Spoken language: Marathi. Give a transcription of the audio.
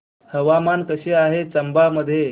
हवामान कसे आहे चंबा मध्ये